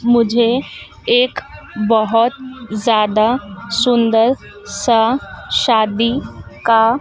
मुझे एक बहोत ज्यादा सुंदर सा शादी का--